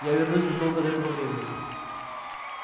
я вернусь задолго до этого времени